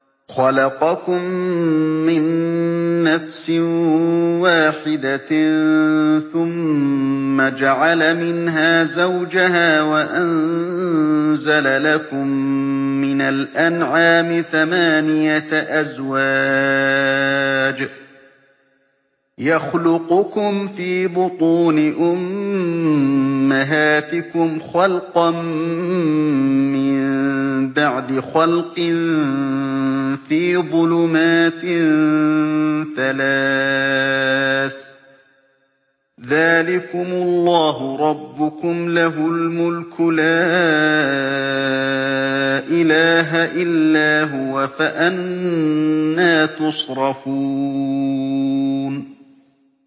خَلَقَكُم مِّن نَّفْسٍ وَاحِدَةٍ ثُمَّ جَعَلَ مِنْهَا زَوْجَهَا وَأَنزَلَ لَكُم مِّنَ الْأَنْعَامِ ثَمَانِيَةَ أَزْوَاجٍ ۚ يَخْلُقُكُمْ فِي بُطُونِ أُمَّهَاتِكُمْ خَلْقًا مِّن بَعْدِ خَلْقٍ فِي ظُلُمَاتٍ ثَلَاثٍ ۚ ذَٰلِكُمُ اللَّهُ رَبُّكُمْ لَهُ الْمُلْكُ ۖ لَا إِلَٰهَ إِلَّا هُوَ ۖ فَأَنَّىٰ تُصْرَفُونَ